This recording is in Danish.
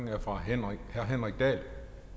er fra herre henrik dahl